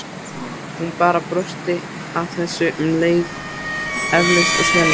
Hún bara brosti að þessu en leið eflaust skelfilega.